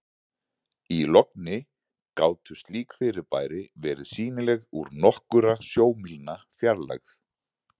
í logni gátu slík fyrirbæri verið sýnileg úr nokkurra sjómílna fjarlægð